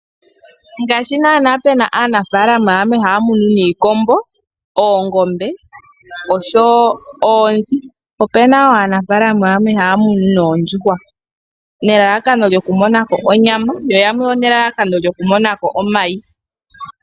Ngaashi naana pe na aanafaalama yamwe haya munu niikombo, oongombe oshowo oonzi, ope na wo aanafaalama yamwe haya munu noondjuhwa nelalakano lyokumona ko onyama, yo ya mone elalakano lyokumona mo omayi.